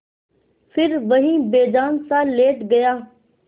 फिर वहीं बेजानसा लेट गया